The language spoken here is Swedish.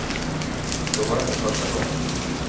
Så var det inte första gången.